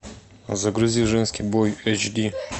загрузи женский бой эйч ди